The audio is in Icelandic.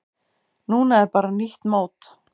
Núna er bara nýtt mót.